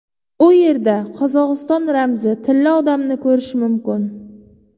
U yerda Qozog‘iston ramzi Tilla odamni ko‘rish mumkin.